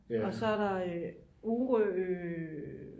og så er der Orø